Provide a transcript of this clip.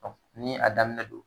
ni a daminɛ don